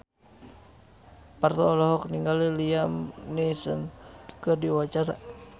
Parto olohok ningali Liam Neeson keur diwawancara